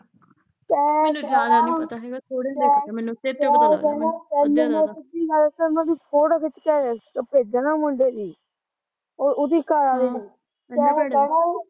ਤੇ ਕਹਿਣਾ ਤੇ ਕਹਿਣਾ, ਤੇਨੂੰ ਮੈਂ ਸਿੱਧੀ ਗੱਲ ਦੱਸਾਂ, ਤੇਨੂੰ ਮੈਂ ਫ਼ੋਟੋ ਖਿੱਚ ਕੇ ਭੇਜਾ ਨਾ ਮੁੰਡੇ ਦੀ ਓ ਉਹਦੇ ਘਰਆਲੇ ਦੀ ਤੈ ਕਹਿਣਾ